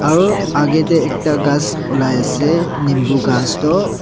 aro akae tae ekta ghas olai ase nimbu ghas toh.